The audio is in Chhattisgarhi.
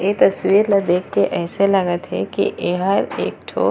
इ तस्वीर ला देख के ऐसा लागत है की यह एक ठो --